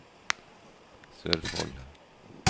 Sørfold